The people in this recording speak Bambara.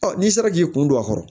n'i sera k'i kun don a kɔrɔ